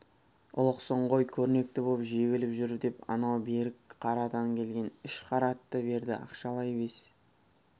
ұлықсың ғой көрнекті боп жегіп жүр деп анау берікқарадан келген үш қара атты берді ақшалай бес